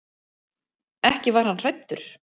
Ekki var hann hræddur.